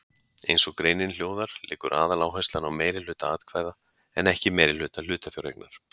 Eins og greinin hljóðar liggur aðaláherslan á meirihluta atkvæða en ekki meirihluta hlutafjáreignar.